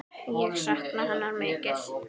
Ég sakna hennar mikið.